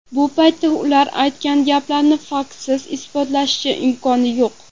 Bu paytda ular aytgan gaplarni faktsiz isbotlashning imkoni yo‘q.